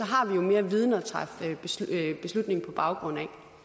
har vi jo mere viden at træffe beslutning på baggrund